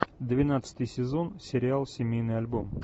двенадцатый сезон сериал семейный альбом